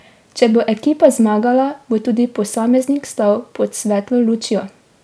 Če bo ekipa zmagala, bo tudi posameznik stal pod svetlo lučjo.